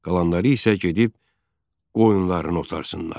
"Qalanları isə gedib qoyunlarını otarsınlar."